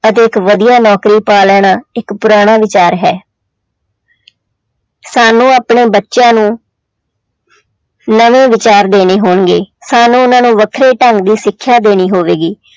ਅਤੇ ਇੱਕ ਵਧੀਆ ਨੌਕਰੀ ਪਾ ਲੈਣਾ ਇੱਕ ਪੁਰਾਣਾ ਵਿਚਾਰ ਹੈ ਸਾਨੂੰ ਆਪਣੇ ਬੱਚਿਆਂ ਨੂੰ ਨਵੇਂ ਵਿਚਾਰ ਦੇਣੇ ਹੋਣਗੇ ਸਾਨੂੰ ਉਹਨਾਂ ਨੂੰ ਵੱਖਰੇ ਢੰਗ ਦੀ ਸਿੱਖਿਆ ਦੇਣੀ ਹੋਵੇਗੀ।